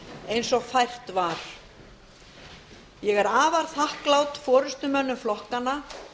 eins og fært var ég er afar þakklát forustumönnum flokkanna